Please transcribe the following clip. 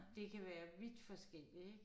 Det kan være vidt forskelligt ik